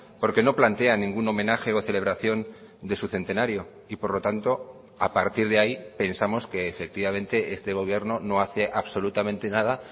porque no plantea ningún homenaje o celebración de su centenario y por lo tanto a partir de ahí pensamos que efectivamente este gobierno no hace absolutamente nada